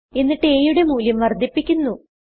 എന്നിട്ട് aയുടെ മൂല്യം വർദ്ധിപ്പിക്കുന്നു